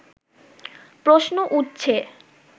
প্রশ্ন উঠছে